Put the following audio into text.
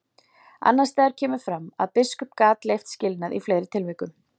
Annars staðar kemur fram að biskup gat leyft skilnað í fleiri tilvikum.